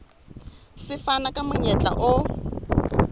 se fana ka monyetla o